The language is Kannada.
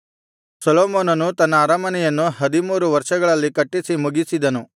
ಸೊಲೊಮೋನನು ತನ್ನ ಅರಮನೆಯನ್ನು ಹದಿಮೂರು ವರ್ಷಗಳಲ್ಲಿ ಕಟ್ಟಿಸಿ ಮುಗಿಸಿದನು